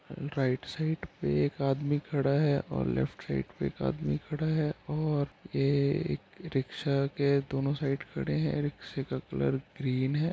Right side पे एक आदमी खड़ा है और लेफ्ट साइड़ पे एक आदमी खड़ा है और ये एक रिक्शा के दोनों साइड खड़े है| रिक्शे का कलर ग्रीन है।